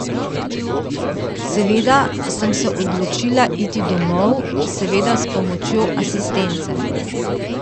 Seveda sem se odločila iti domov, seveda s pomočjo asistence.